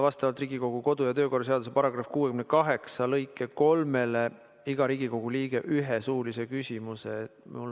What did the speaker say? Vastavalt Riigikogu kodu- ja töökorra seaduse § 68 lõikele 3 saab iga Riigikogu liige arupärimise korral esitada ühe suulise küsimuse.